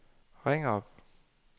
ring op